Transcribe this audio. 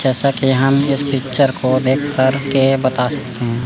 जैसा की हम इस पिक्चर को देख करके बता सकते हैं।